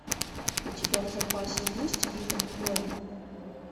у тебя в запасе есть итан коэн